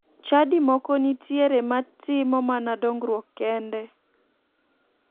Chadi moko nitiere ma timo mana dongruok kende